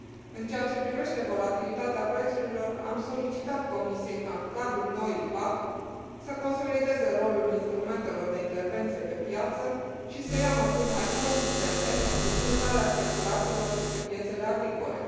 În ceea ce privește volatilitatea prețurilor, am solicitat Comisiei ca, în cadrul noii PAC, să consolideze rolul instrumentelor de intervenție pe piață și să ia măsuri mai consistente pentru limitarea speculațiilor pe piețele agricole.